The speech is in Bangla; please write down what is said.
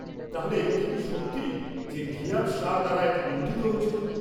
-তাহলে এ কথা কি সত্যি যে, ঘিয়াথ শাহ দ্বারা এটি লুণ্ঠিত হয়েছিল?